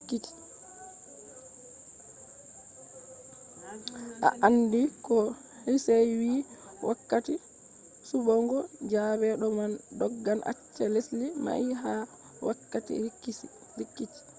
a andi ko hsieh vi wakkati suɓugo zabe do ma doggan acca lesdi mai ha wakkati rikici